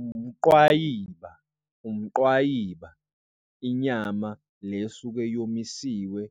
Umqwayiba, umqwayiba inyama le esuke yomisiwe